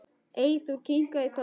Eyþór kinkar kolli.